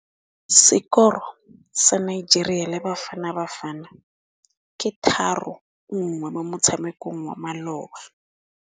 Sekôrô sa Nigeria le Bafanabafana ke 3-1 mo motshamekong wa malôba.